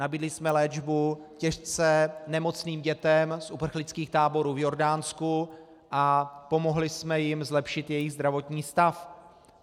Nabídli jsme léčbu těžce nemocným dětem z uprchlických táborů v Jordánsku a pomohli jsme jim zlepšit jejich zdravotní stav.